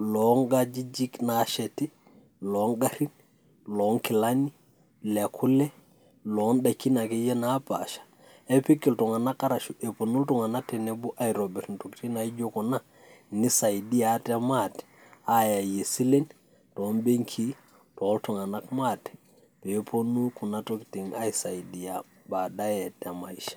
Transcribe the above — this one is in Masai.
iloonkajijiki nasheti, logarrin, lonkilani, lekule, lodaikini akeyie napaasha, kepik iltung'anak arashu eponu iltung'anak tenebo aitobir intokiting naijo kuna, nisaidia ate maate, ayayie silen, tobenkii, toltung'anak maate, peponu kuna tokiting' aisaidia badaye temaisha.